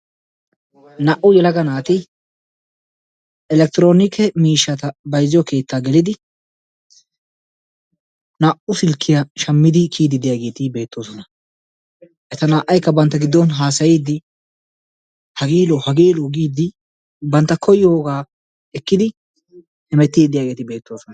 Naa"u yelaga naati elektiroonike miishshaa bayzziyo keettaa gelidi naa"u silkkiya shammidi kiyiiddi de'iyageeti beettoosona. Naa"aykka bantta giddon haasayiiddi, hagee lo'o hagee lo'o giiddi bantta koyogaa ekkidi hemettiiddi diyageeti beettoosona.